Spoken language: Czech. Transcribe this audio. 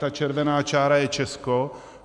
Ta červená čára je Česko.